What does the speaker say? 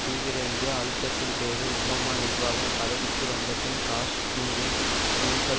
தீவிர இந்திய அழுத்தத்தின் பேரில் ஒபாமா நிர்வாகம் பதவிக்கு வந்த பின் காஷ்மீரில் பூசல்